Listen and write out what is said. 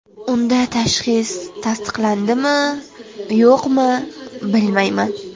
Unda tashxis tasdiqlandimi-yo‘qmi, bilmayman.